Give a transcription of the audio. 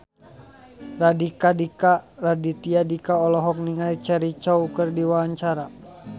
Raditya Dika olohok ningali Cheryl Crow keur diwawancara